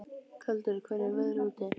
Galdur, hvernig er veðrið úti?